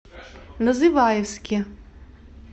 называевске